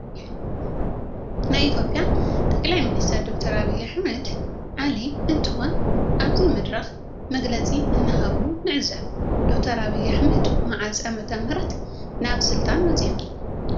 ናይ ኢትዮጲያ ጠቅላላይ ሚኒስትር ዶክተር አብይ አሕመድ ዓሊ እንትኮን አብዚ መድረክ መግለፅ እናሃቡ ንዕዘብ ። ዶክተር አብይ አሕመድ መዓዝ ዓ.ም ናብ ስልጣን መፅዮም?